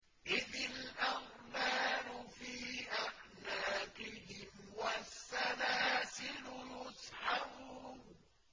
إِذِ الْأَغْلَالُ فِي أَعْنَاقِهِمْ وَالسَّلَاسِلُ يُسْحَبُونَ